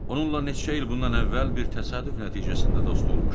Onunla neçə il bundan əvvəl bir təsadüf nəticəsində dost olmuşdum.